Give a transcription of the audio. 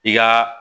I ka